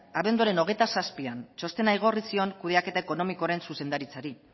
abenduaren hogeita zazpian txostena igorri zion kudeaketa ekonomikoaren zuzendaritzari